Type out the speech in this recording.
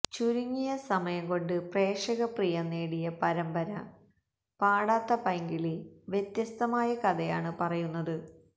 ചുരുങ്ങിയ സമയം കൊണ്ട് പ്രേക്ഷക പ്രിയം നേടിയ പരമ്പര പാടാത്ത പൈങ്കിളി വ്യത്യസ്തമായ കഥയാണ് പറയുന്നത്